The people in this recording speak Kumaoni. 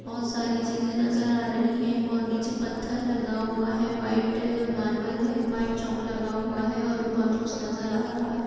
बहोत सारी चीजें नजर आ रही हैं और नीचे पत्थर लगा हुआ है व्हाइट मार्बल है व्हाइट चौक लगा हुआ है और भी बहोत कुछ नजर आ रहा है।